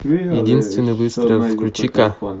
единственный выстрел включи ка